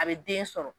A bɛ den sɔrɔ